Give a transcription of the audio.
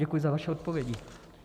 Děkuji za vaše odpovědi.